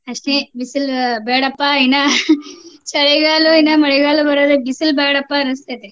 ಅಷ್ಟೆ ಬಿಸಿಲು ಬ್ಯಾಡಪ್ಪಾ ಇನ್ನಾ ಚಳಿಗಾಲ ಇನ್ನಾ ಮಳೆಗಾಲ ಬರ್ಲಿ ಬಿಸಲ್ ಬ್ಯಾಡಪಾ ಅನಸ್ತೇತಿ.